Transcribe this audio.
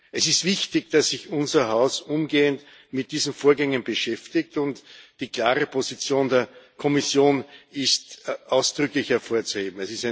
Es ist wichtig, dass sich unser Haus umgehend mit diesen Vorgängen beschäftigt, und die klare Position der Kommission ist ausdrücklich hervorzuheben.